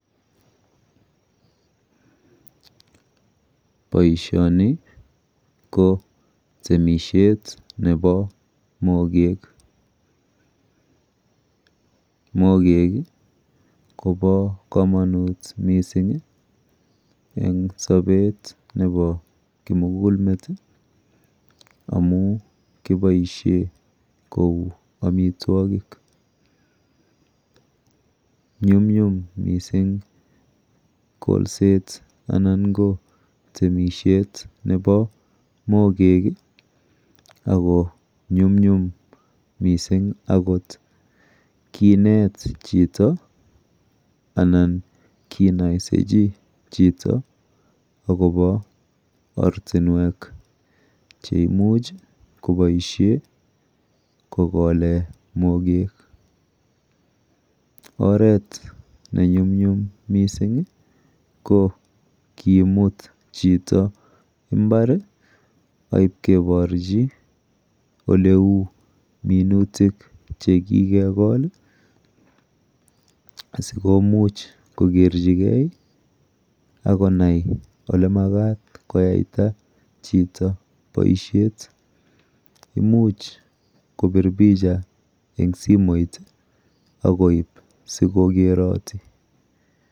Boishoni ko temishet nepo mokek. Mokek kopo komonut mising eng sopet nepo komugulmet amu kiboishe kou amitwokik. Nyumnyum mising kolset anan ko temishet nepo mokek ako nyumnyum mising kinet chito anan kinoisechi chito akopo ortinwek cheimuch koboishe kokole mokek. Oret nenyumnyum mising ko kimut chito imbar aipkeporchi oleu minutik chekikekol asikomuch kokerchigei akonai olemakat koyaita chito boishet. Imuch kopir picha eng simoit akoip sikokeroti.